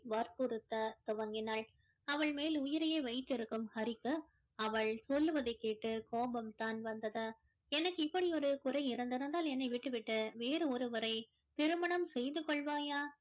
வற்புறுத்த துவங்கினாள் அவள் மேல் உயிரையே வைத்திருக்கும் ஹரிக்கு அவள் சொல்லுவதை கேட்டு கோபம் தான் வந்தது எனக்கு இப்படி ஒரு குறை இருந்திருந்தால் என்னை விட்டு விட்டு வேறு ஒருவரை திருமணம் செய்து கொள்வாயா